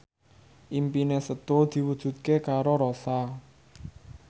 impine Setu diwujudke karo Rossa